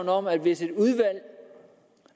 om at hvis et udvalg